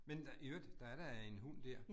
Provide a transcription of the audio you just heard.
Men i øvrigt, der er da en hund der